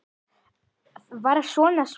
Var hann svona svangur?